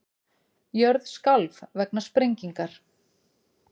Jörð skalf vegna sprengingar